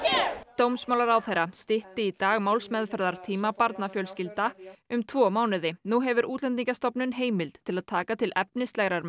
dómsmálaráðherra stytti í dag málsmeðferðartíma barnafjölskylda um tvo mánuði nú hefur Útlendingastofnun heimild til að taka til efnislegrar